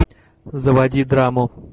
заводи драму